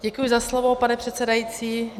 Děkuji za slovo, pane předsedající.